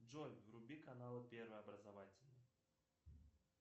джой вруби канал первый образовательный